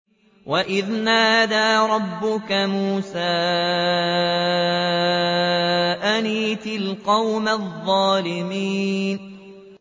وَإِذْ نَادَىٰ رَبُّكَ مُوسَىٰ أَنِ ائْتِ الْقَوْمَ الظَّالِمِينَ